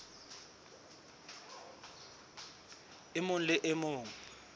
e mong le e mong